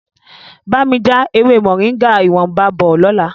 Bá mi já ewé Moringa ìwọ̀nba bọ̀ lọ́la.